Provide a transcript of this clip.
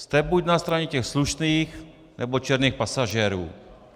Jste buď na straně těch slušných, nebo černých pasažérů.